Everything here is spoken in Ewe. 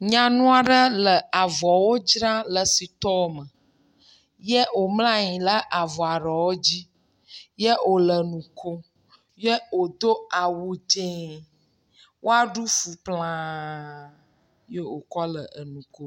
Nyanua ɖe le avɔwo dzra le sitɔ me, ye wòmlɔ anyi ɖe avɔa ɖewo dzi, ye wòle nu kom, ye wòdo awu dzẽ. Wòa ɖu fu klãaaaaa, ye wòkɔ le enu ko.